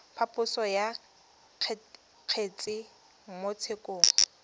phaposo ya kgetse mo tshekong